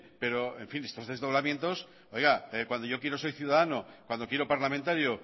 pero en fin estos desdoblamientos cuando yo quiero soy ciudadano cuando quiero parlamentario